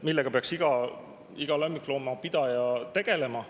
… millega peaks iga lemmikloomapidaja tegelema.